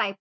है